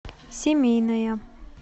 семейная